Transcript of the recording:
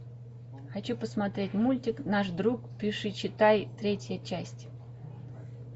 хочу посмотреть мультик наш друг пишичитай третья часть